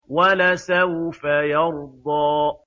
وَلَسَوْفَ يَرْضَىٰ